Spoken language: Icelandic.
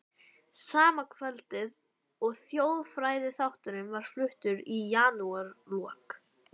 Sama kvöldið og þjóðfræðiþátturinn var fluttur í janúarlok